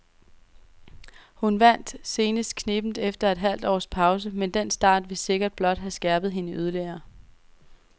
Hun vandt senest knebent efter et halvt års pause, men den start vil sikkert blot have skærpet hende yderligere.